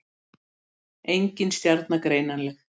Engin stjarna greinanleg.